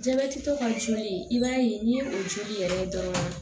Jabɛtitɔ ka joli i b'a ye n'i ye o joli yɛrɛ ye dɔrɔn